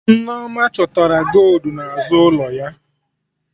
Nneoma chọtara goldu n'azụ ụlọ ya